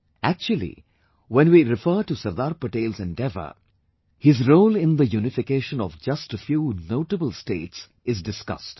Actually, when we refer to Sardar Patel's endeavour, his role in the unification of just a few notable States is discussed